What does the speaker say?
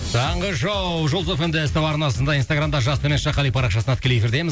таңғы шоу жұлдыз эф эм де ств арнасында инстаграмда жас төмен сызықша қали парақшасында тікелей эфирдеміз